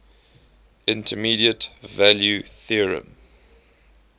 intermediate value theorem